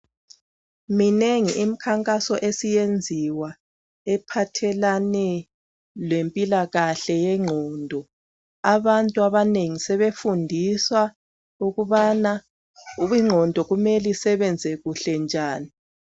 Minengi imikhankaso esiyenziwa ephathelane lempilakahle yengqondo. Abantu abanengi sebefundiswa ukubana ingqondo kumele isebenze kuhle njani.